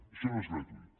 això no és gratuït